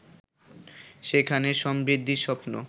সেখানে সমৃদ্ধির স্বপ্ন